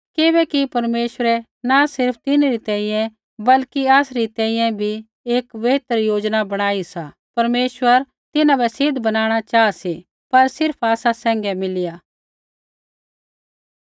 किबैकि परमेश्वरै न सिर्फ़ तिन्हरी तैंईंयैं बल्कि आसरी तैंईंयैं बी एक बेहतर योजना बणाई सा परमेश्वर तिन्हां बै सिद्ध बनाणा चाहा सी पर सिर्फ़ आसा सैंघै मिलिया